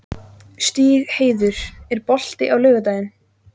Stígheiður, er bolti á laugardaginn?